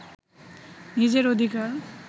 নিজের অধিকার